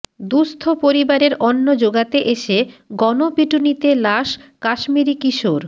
দুস্থ পরিবারের অন্ন জোগাতে এসে গণপিটুনিতে লাশ কাশ্মীরি কিশোর